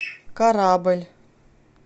корабль